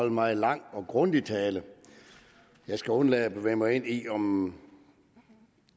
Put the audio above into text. en meget lang og grundig tale jeg skal undlade at bevæge mig ind i om